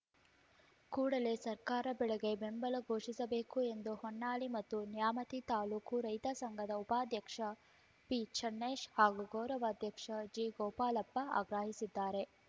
ಕೂಡಲೇ ಸರ್ಕಾರ ಬೆಳೆಗೆ ಬೆಂಬಲ ಘೋಷಿಸಬೇಕು ಎಂದು ಹೊನ್ನಾಳಿ ಮತ್ತು ನ್ಯಾಮತಿ ತಾಲೂಕು ರೈತ ಸಂಘದ ಉಪಾಧ್ಯಕ್ಷ ಪಿಚನ್ನೇಶ್‌ ಹಾಗೂ ಗೌರವಾಧ್ಯಕ್ಷ ಜಿಗೋಪಾಲಪ್ಪ ಆಗ್ರಹಿಸಿದ್ದಾರೆ